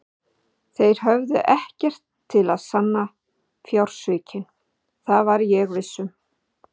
Þeir höfðu ekkert til að sanna fjársvikin, það var ég viss um.